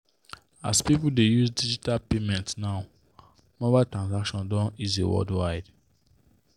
as people dey use digital payment now mobile transactions don easy worldwide.